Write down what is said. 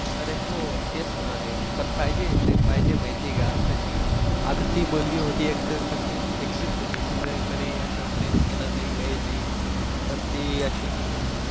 अरे हो तेच ना रे पण पाहिजे प्रेम पाहिजे माहिती का आता ती आता ती मुलगी होती एकटी कशी होती ती नाही कधी असं प्रेम केलं नाही काहीच नाही पण ती अशी मध्ये